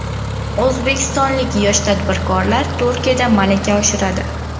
O‘zbekistonlik yosh tadbirkorlar Turkiyada malaka oshiradi.